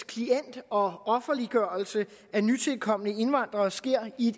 og og offerliggørelse af nytilkomne indvandrere sker i